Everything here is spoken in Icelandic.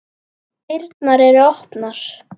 Dyrnar eru opnar.